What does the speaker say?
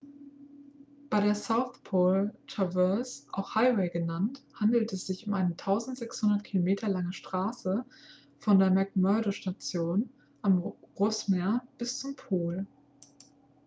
bei der south pole traverse auch highway genannt handelt es sich um eine 1600 km lange straße von der mcmurdo-station am rossmeer bis zum pol